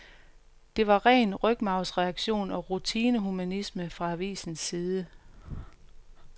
Det var ren rygmarvsreaktion og rutine-humanisme fra avisens side.